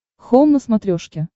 хоум на смотрешке